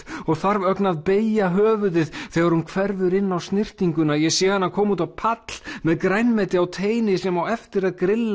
og þarf ögn að beygja höfuðið þegar hún hverfur inn á snyrtinguna ég sé hana koma út á pall með grænmeti á teini sem á eftir að grilla